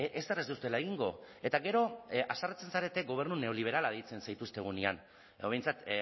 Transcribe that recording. ezer ez duzuela egingo eta gero haserretzen zarete gobernu neoliberala deitzen zaituztegunean edo behintzat